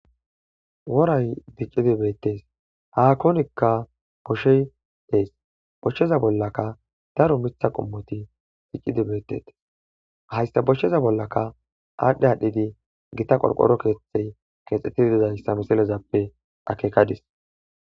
woray diccidi beettes haakonikka boshey dees bochsheza bollaka daru mitha qummoti diccidi beetetes hayssa boshcheza bollaka aadhdhe adhdhidi gita qorqoro keeththey keexxettiddiday samiselezappe akekadis